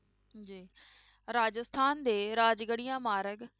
ਜੀ ਰਾਜਸਥਾਨ ਦੇ ਰਾਜਗੜੀਆ ਮਾਰਗ